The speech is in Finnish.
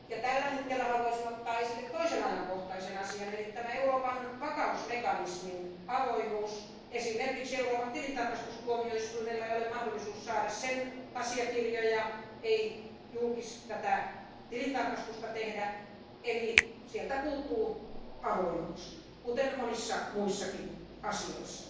Tällä hetkellä haluaisin ottaa esille toisen ajankohtaisen asian eli tämän Euroopan vakausmekanismin avoimuuden esimerkiksi Euroopan tilintarkastustuomioistuimella ei ole mahdollisuutta saada sen asiakirjoja eikä tehdä tilintarkastusta, eli sieltä puuttuu avoimuus, kuten monissa muissakin asioissa.